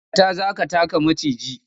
Dakata! za ka taka maciji.